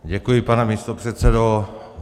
Děkuji, pane místopředsedo.